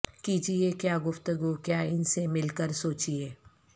کیجئے کیا گفتگو کیا ان سے مل کر سوچئے